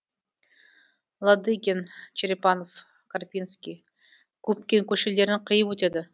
лодыгин черепанов карпинский губкин көшелерін қиып өтеді